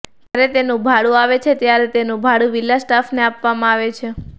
જ્યારે તેનું ભાડું આવે છે ત્યારે તેનું ભાડું વિલા સ્ટાફને આપવામાં આવે છે